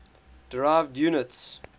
derived units